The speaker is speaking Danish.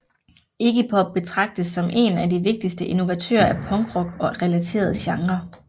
Iggy Pop betragtes som én af de vigtigste innovatører af punkrock og relaterede genrer